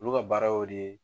Olu ka baara y'o de ye.